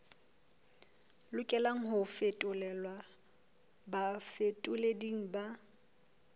lokelang ho fetolelwa bafetoleding ba